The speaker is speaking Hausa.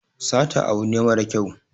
Sata abu ne mara kyau